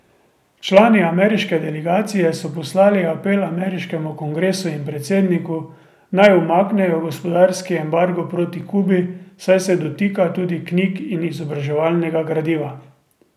Člani ameriške delegacije so poslali apel ameriškemu kongresu in predsedniku, naj umaknejo gospodarski embargo proti Kubi, saj se dotika tudi knjig in izobraževalnega gradiva.